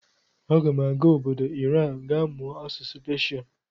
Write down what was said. Aga m aga obodo Iran ga mụọ asụsụ Peshia.